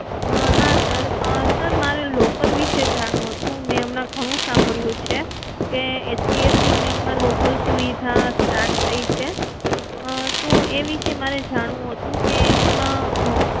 હા sir, sir મારે locker વિષે જાણવું હતું, મેં હમણાં ઘણું સાંભળ્યું છે કે HDFC Bank માં લોકર સુવિધા start થઇ છે તો એ વિષે મારે જાણવું હતું કે એમાં